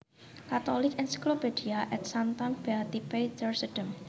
Catholic Encyclopedia Ad Sanctam Beati Petri Sedem